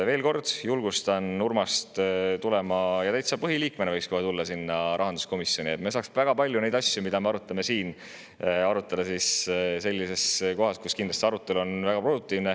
Veel kord julgustan Urmast: kohe täitsa põhiliikmena võiksid tulla rahanduskomisjoni, et me saaksime väga paljusid asju, mida me arutame siin, arutada sellises kohas, kus arutelu on kindlasti väga produktiivne.